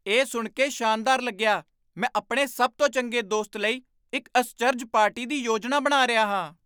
ਇਹ ਸੁਣ ਕੇ ਸ਼ਾਨਦਾਰ ਲੱਗਿਆ! ਮੈਂ ਆਪਣੇ ਸਭ ਤੋਂ ਚੰਗੇ ਦੋਸਤ ਲਈ ਇੱਕ ਅਸਚਰਜ ਪਾਰਟੀ ਦੀ ਯੋਜਨਾ ਬਣਾ ਰਿਹਾ ਹਾਂ